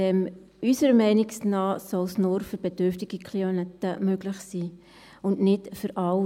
Unserer Meinung nach soll es nur für bedürftige Klienten möglich sein, und nicht für alle.